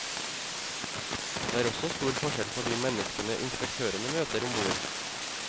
Det er også stor forskjell på de menneskene inspektørene møter ombord.